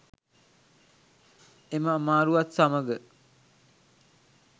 එම අමාරුවත් සමග